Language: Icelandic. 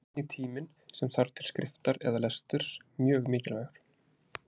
Hér er einnig tíminn sem þarf til skriftar eða lesturs mjög mikilvægur.